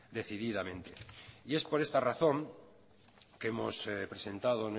decididamente y es por esta razón que hemos presentado